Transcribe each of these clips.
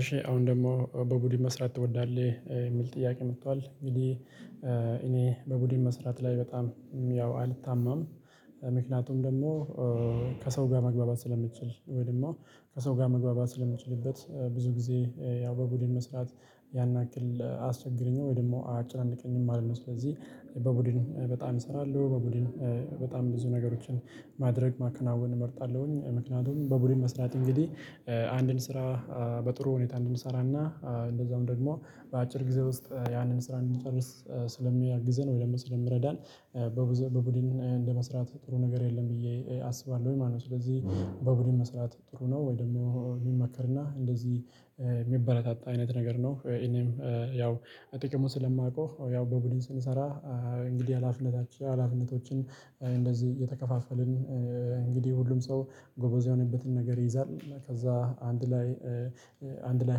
እሺ አሁን ደግሞ በቡድን መስራት ትወዳለህ የሚል ጥያቄ መጥቷል እንግዲህ በቡድን መስራት ላይ በጣም ያው አልታማም። ምክንያቱም ደግሞ ከሰው ጋር መግባባት ስለሚችል ወይም ደግሞ ከሰው ጋር መግባባት ስለሚችልበት ብዙ ጊዜ ያው በቡድን መስራት ያን ያክል አያስቸግረኝም። ወይ ደግሞ አጭር አንድ ቀኝም አለ ነው። ስለዚህ በቡድን በጣም እሰራለሁ በቡድን በጣም ብዙ ነገሮችን ማድረግ ማከናወን እመርጣለሁኝ። ምክንያቱም በቡድን መስራት እንግዲህ አንድን ስራ በጥሩ ሁኔታ እንድንሰራና እንደዛውም ደግሞ በአጭር ጊዜ ውስጥ ያንን ስራ እንድንጨርስ ስለሚያግዘን ወይ ለምን ስለምረዳን። በቡድን እንደመስራት ጥሩ ነገር የለም ብዬ አስባለሁ ወይ ማለት ነው። ስለዚህ በቡድን መስራት ጥሩ ነው ወይ ደግሞ የሚመከርና እንደዚህ የሚበረታታ አይነት ነገር ነው። እኔም ያው ጥቅሙን ስለማውቀው ያው በቡድን ስንሰራ። እንግዲህ አላፍነታችን አላፍነቶችን እንደዚህ የተከፋፈልን እንግዲህ ሁሉም ሰው ጎበዝ የሆነበትን ነገር ይይዛል ከዛ አንድ ላይ አንድ ላይ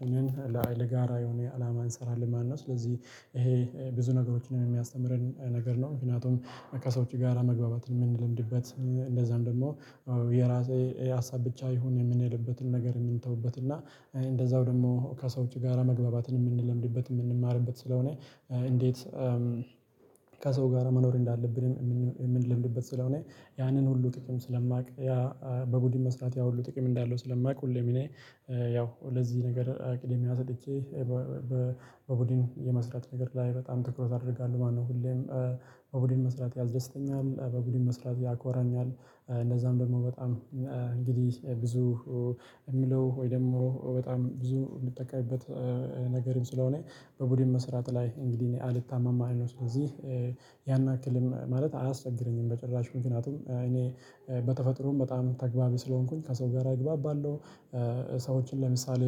ሆነን ለጋራ የሆነ አላማ እንሰራለን። ማነው ስለዚህ ይሄ ብዙ ነገሮችንም የሚያስተምረን ነገር ነው። ምክንያቱም ከሰዎች ጋራ መግባባት ነው የምንለምድበት እንደዛም ደግሞ። የራሴ ሀሳብ ብቻ ይሁን የምንልበትን ነገር የምንተውበት እና እንደዛው ደግሞ ከሰው ጋራ መግባባትን የምንለምድበት የምንማርበት ስለሆነ። እንዴት ከሰው ጋር መኖር እንዳለብን የምንለምድበት ስለሆነ። ያንን ሁሉ ጥቅም ስለማውቅ ያ በቡድን መስራት ያ ሁሉ ጥቅም እንዳለው ስለማውቅ። ሁሌ እኔ ያው ለዚህ ነገር አቅዴም አሰልቼ በቡድን የመስራት ነገር ላይ በጣም ትኩረት አደርጋለሁ። ማነው ሁሌም በቡድን መስራት ያስደስተኛል። በቡድን መስራት ያኮራኛል። እንደዛም ደግሞ በጣም እንግዲህ ብዙ የሚለው ወይ ደግሞ በጣም ብዙ የሚጠቀምበት ነገርም ስለሆነ በቡድን መስራት ላይ እንግዲህ እኔ አልታማም። አልኖርም ስለዚህ ያን ያክልም ማለት አያስቸግረኝም በጭራሽ ምክንያቱም እኔ በተፈጥሮም በጣም ተገቢ ስለሆንኩኝ ከሰው ጋር እግባባባለው። ሰዎችን ለምሳሌ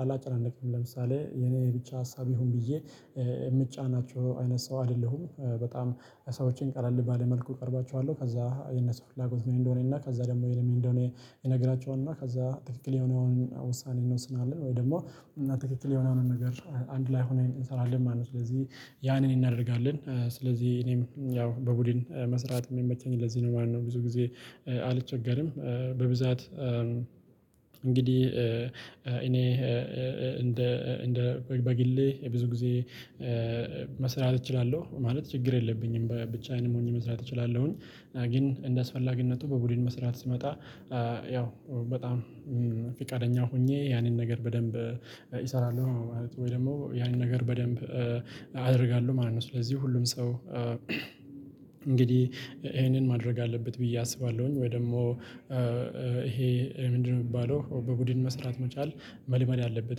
አላጨናነቅም ለምሳሌ የኔ ብቻ ሀሳብ ይሁን ብዬ የምጫናቸው አይነት ሰው አይደለሁም። በጣም ሰዎችን ቀለል ባለ መልኩ እቀርባቸዋለሁ። ከዛ የነሱ ፍላጎት ነው እንደሆነ እና ከዛ ደግሞ የነሱ እንደሆነ የነገራችሁን እና ከዛ ትክክል የሆነውን ውሳኔ እንወስናለን። ወይ ደግሞ እና ትክክል የሆነውን ነገር አንድ ላይ ሆነን እንሰራለን ማለት ነው። ስለዚህ ያንን እናደርጋለን ስለዚህ እኔም ያው በቡድን መስራት የሚመቸኝ ለዚህ ነው ማለት ነው። ብዙ ጊዜ አልቸገርም በብዛት እንግዲህ እኔ እንደ በግሌ ብዙ ጊዜ መስራት እችላለሁ ማለት ችግር የለብኝም። ብቻዬን ሆኜ መስራት እችላለሁኝ ግን እንደስፈላጊነቱ በቡድን መስራት ሲመጣ ያው በጣም ፊቃደኛ ሆኜ ያንን ነገር በደንብ እሰራለሁ ማለት ነው። ወይ ደግሞ ያንን ነገር በደንብ አደርጋለሁ ማለት ነው። ስለዚህ ሁሉም ሰው እንግዲህ ይሄንን ማድረግ አለበት ብዬ አስባለሁኝ። ወይ ደግሞ ይሄ ምንድነው? የሚባለው በቡድን መስራት መቻል መልመድ አለበት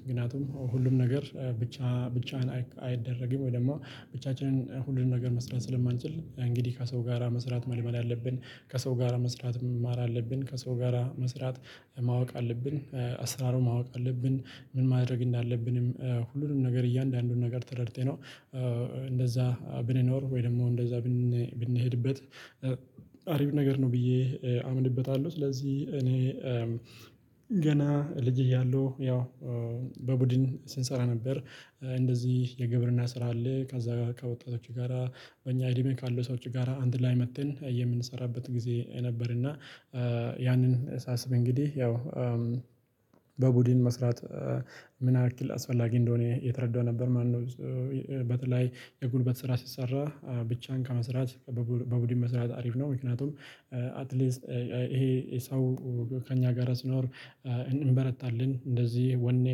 ምክንያቱም ሁሉም ነገር ብቻ ብቻህን አይደረግም። ወይ ደግሞ ብቻችንን ሁሉም ነገር መስራት ስለማንችል እንግዲህ ከሰው ጋራ መስራት መልመል አለብን ከሰው ጋራ መስራት መማር አለብን። ከሰው ጋራ መስራት ማወቅ አለብን አስራሮ ማወቅ አለብን ምን ማድረግ እንዳለብንም ሁሉንም ነገር እያንዳንዱን ነገር ተረድቼ ነው። እንደዛ ብንኖር ወይ ደግሞ እንደዛ ብንሄድበት አሪፍ ነገር ነው ብዬ አምንበታለሁ። ስለዚህ እኔ ገና ልጅ እያለሁ ያው በቡድን ስንሰራ ነበር። እንደዚህ የግብርና ስራ አለ ከዛ በቃ ወጣቶች ጋራ በእኛ አይዲሜ ካለው ሰዎች ጋራ አንድ ላይ መጥተን የምንሰራበት ጊዜ ነበር። እና ያንን ሳስብ እንግዲህ ያው በቡድን መስራት ምን ያክል አስፈላጊ እንደሆነ የተረዳው ነበር። ማነው በተለይ የጉልበት ስራ ሲሰራ ብቻን ከመስራት በቡድን መስራት አሪፍ ነው። ምክንያቱም አትሊስት ይሄ ሰው ከእኛ ጋር ስኖር እንበረታለን እንደዚህ ወኔ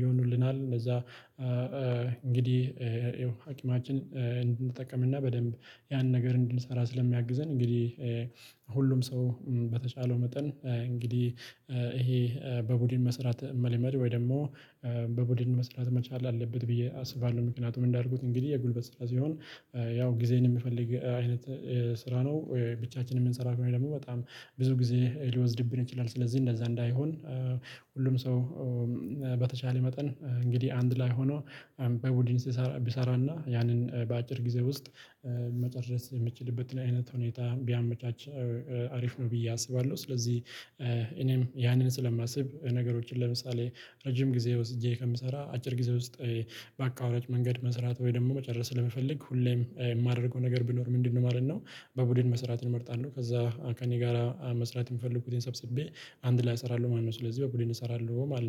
ይሆኑልናል። እንደዛ እንግዲህ አቅማችን እንጠቀምና በደንብ ያን ነገር እንድንሰራ ስለሚያግዘን። እንግዲህ ሁሉም ሰው በተቻለው መጠን እንግዲህ ይሄ በቡድን መስራት መልመድ ወይ ደግሞ በቡድን መስራት መቻል አለበት ብዬ አስባለሁ። ምክንያቱም እንዳልኩት እንግዲህ የጉልበት ስራ ሲሆን ያው ጊዜን የምፈልግ አይነት ስራ ነው። ብቻችንን የምንሰራው ወይ ደግሞ በጣም ብዙ ጊዜ ሊወስድብን ይችላል። ስለዚህ እንደዛ እንዳይሆን። ሁሉም ሰው በተቻለ መጠን እንግዲህ አንድ ላይ ሆኖ በቡድን ሲሰራ ቢሰራና ያንን በአጭር ጊዜ ውስጥ መጨረስ የምትችልበትን አይነት ሁኔታ ቢያመቻች። አሪፍ ነው ብዬ አስባለሁ። ስለዚህ እኔም ያንን ስለማስብ ነገሮችን ለምሳሌ ረጅም ጊዜ ወስጄ ከምሰራ አጭር ጊዜ ውስጥ ባቋራጭ መንገድ መስራት ወይ ደግሞ መጨረስ ለመፈለግ ሁሌም የማደርገው ነገር ቢኖር ምንድነው ማለት ነው? በቡድን መስራት እመርጣለሁ። ከዛ ከእኔ ጋር መስራት የምፈልግበትን ሰብስቤ አንድ ላይ እሰራለሁ ማለት ነው። ስለዚህ በኩልን እሰራለሁ ማለት ነው